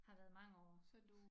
Har været mange år